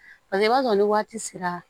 Paseke i b'a sɔrɔ ni waati sera